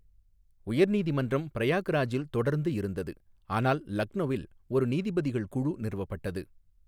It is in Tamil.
உயர் நீதிமன்றம் பிரயாக்ராஜில் தொடர்ந்து இருந்தது, ஆனால் லக்நௌவில் ஒரு நீதிபதிகள் குழு நிறுவப்பட்டது.